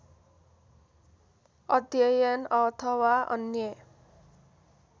अध्ययन अथवा अन्य